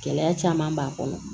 Gɛlɛya caman b'a kɔnɔ